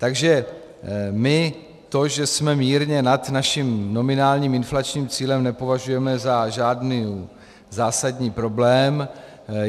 Takže my to, že jsme mírně nad naším nominálním inflačním cílem, nepovažujeme za žádný zásadní problém.